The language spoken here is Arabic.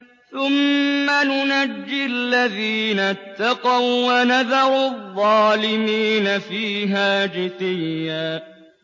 ثُمَّ نُنَجِّي الَّذِينَ اتَّقَوا وَّنَذَرُ الظَّالِمِينَ فِيهَا جِثِيًّا